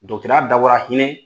Dɔgɔtɔrɔya dabɔra hinɛ